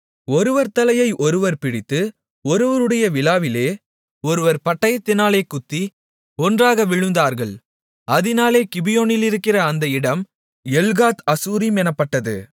ஒருவர் தலையை ஒருவர் பிடித்து ஒருவருடைய விலாவிலே ஒருவர் பட்டயத்தினாலே குத்தி ஒன்றாக விழுந்தார்கள் அதினாலே கிபியோனிலிருக்கிற அந்த இடம் எல்காத் அசூரிம் எனப்பட்டது